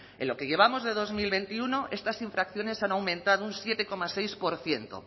en lo que llevamos de dos mil veintiuno estas infracciones han aumentado un siete coma seis por ciento